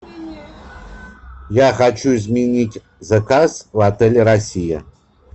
я хочу изменить заказ в отеле россия